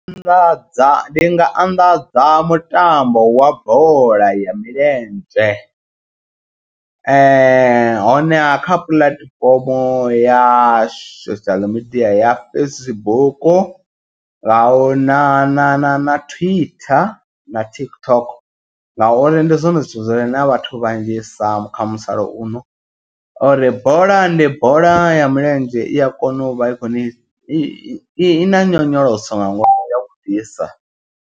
Anḓadza ndi nga anḓadza mutambo wa bola ya milenzhe. Honeha kha puḽatifomo ya social media ya Facebook nga u na na na na Twitter na TikTok. Ngauri ndi zwone zwithu zwire na vhathu vhanzhisa kha musalauno. U ri bola ndi bola ya milenzhe i a kona u vha i kho ni i na nyonyoloso nga ngomu ya vhuḓisa.